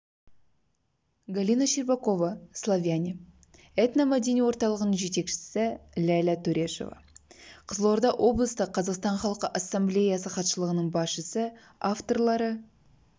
галина щербакова славяне этно-мәдени орталығының жетекшісі ләйлә төрешова қызылорда облыстық қазақстан халқы ассамблеясы хатшылығының басшысы авторлары